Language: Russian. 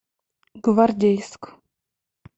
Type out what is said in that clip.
гвардейск